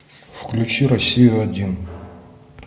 включи россию один